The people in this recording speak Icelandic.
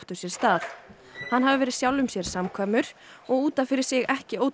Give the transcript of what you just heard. hann hafi verið sjálfum sér samkvæmur og út af fyrir sig ekki ótrúverðugur